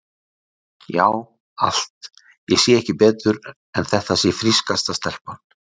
Já, allt, ég sé ekki betur en þetta sé frískasta stelpa.